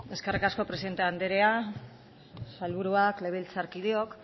eskerrik asko presidente andrea sailburuak legebiltzarkideok